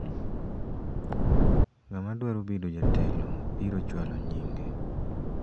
ng'ama dwaro bedo jatelo biro chwalo nyinge